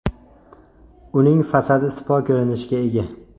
Uning fasadi sipo ko‘rinishga ega.